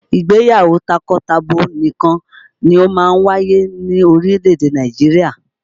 Ìgbéyàwó takọtabo nìkan ni máa ń wáyé ní orílè-èdè Nàìjirià